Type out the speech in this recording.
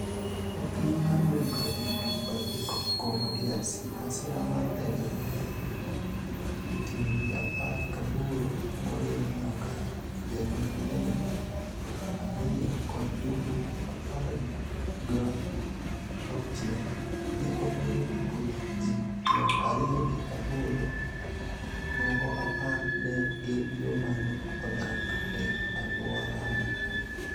E piny mar Democratic Republic of Congo (DRC), masira mar ndege ma ne oting'o ji apar ga boro moriwo nyaka jariemb ndege ariyo kod jowuoth apar go auchel ne onego ji piero ariyo gi aboro , moko apar ne gin joma ne odak e alworano.